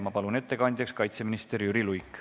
Ma palun ettekandjaks kaitseminister Jüri Luige.